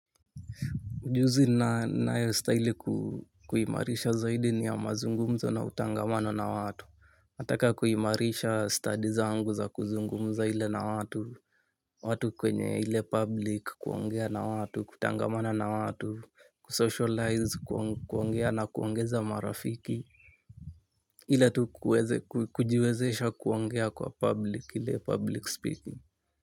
Ujuzi ninayo staili kuimarisha zaidi ni ya mazungumzo na utangamano na watu nataka kuimarisha stadi zangu za kuzungumza ile na watu. Watu kwenye ile public kuongea na watu, kutangamana na watu, kusocialize, kuongea na kuongeza marafiki ile tu kujiwezesha kuongea kwa public ile public speaking.